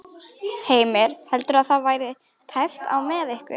Heimir: Heldurðu að það verði tæpt á með ykkur?